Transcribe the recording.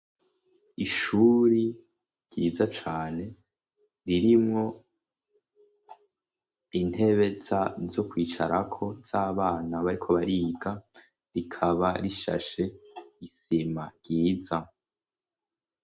Ishuri ryiza cane ririmwo intebe a zo kwicarako zabana bariko bariga rikaba rishashe isima ryiza.